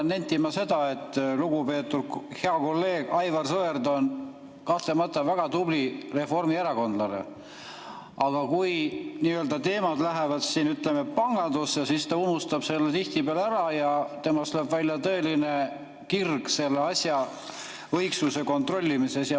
Ma pean nentima seda, et lugupeetud hea kolleeg Aivar Sõerd on kahtlemata väga tubli reformierakondlane, aga kui teemad lähevad, ütleme, pangandusse, siis ta unustab selle tihtipeale ära ja temas lööb välja tõeline kirg selle asja õigsuse kontrollimiseks.